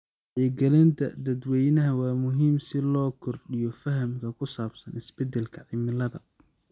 Wacyigelinta dadweynaha waa muhiim si loo kordhiyo fahamka ku saabsan isbedelka cimilada.